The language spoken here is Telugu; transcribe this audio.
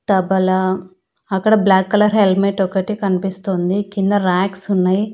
తబలా అక్కడ బ్లాక్ కలర్ హెల్మెట్ ఒకటి కనిపిస్తోంది కింద రాక్స్ ఉన్నయి.